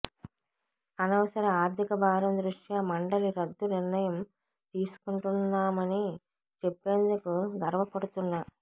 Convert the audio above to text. అనవసర ఆర్థిక భారం దృష్ట్యా మండలి రద్దు నిర్ణయం తీసుకుంటున్నామని చెప్పేందుకు గర్వపడుతున్నా